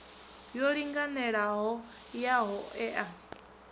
yo linganelaho ya ho ea